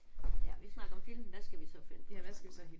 Ja. Vi snakkede om film hvad skal vi så finde på at snakke om?